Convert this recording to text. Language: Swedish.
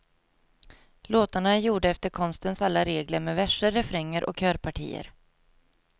Låtarna är gjorda efter konstens alla regler med verser, refränger och körpartier.